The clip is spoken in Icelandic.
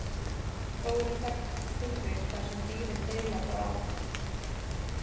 Þó eru þekkt tilvik þar sem dýrin deila bráð.